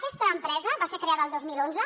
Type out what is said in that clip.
aquesta empresa va ser creada el dos mil onze